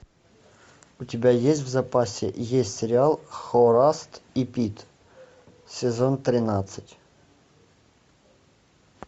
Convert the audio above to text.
у тебя есть в запасе есть сериал хорас и пит сезон тринадцать